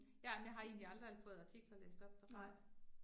Ja, men jeg har egentlig aldrig fået artikler læst op derfra